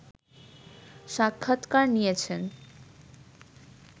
সাক্ষাৎকার নিয়েছেন